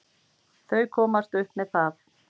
Þau komast upp með það!